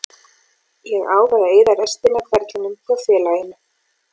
Ég ákvað að eyða restinni af ferlinum hjá félaginu.